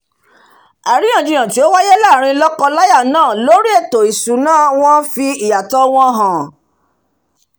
àríyàn jiyàn tí ó wáyé láàrin lọ́kọ láyà náà lórí ètò ìsúná wọn fì ìyàtọ̀ wọn hàn